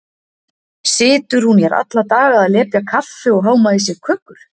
Situr hún hér alla daga að lepja kaffi og háma í sig kökur?